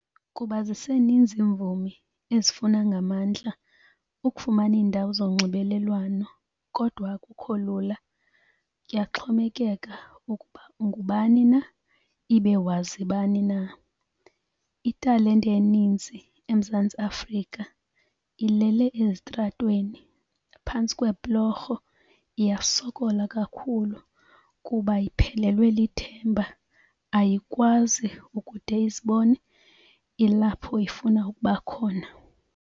Kuba ziseninzi iimvumi ezifuna ngamandla ukufumana iindawo zonxibelelwano, kodwa akukho lula. Kuyaxhomekeka ukuba ungubani na ibe wazi bani na. Italente eninzi eMzantsi Afrika ilele ezitratweni, phantsi kweebhlorho, iyasokola kakhulu kuba iphelelwe lithemba, ayikwazi ukude izibone ilapho ifuna ukuba khona.